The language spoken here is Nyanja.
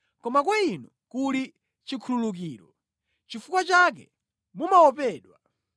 Koma kwa Inu kuli chikhululukiro; nʼchifukwa chake mumaopedwa.